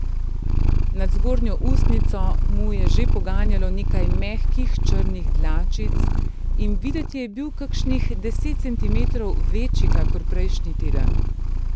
Nad zgornjo ustnico mu je že poganjalo nekaj mehkih črnih dlačic in videti je bil kakšnih deset centimetrov večji kakor prejšnji teden.